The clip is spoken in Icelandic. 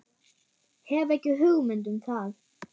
Hef ekki hugmynd um það.